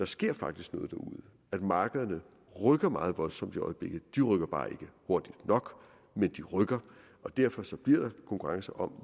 sker noget at markederne rykker meget voldsomt i øjeblikket de rykker bare ikke hurtigt nok men de rykker og derfor bliver der konkurrence om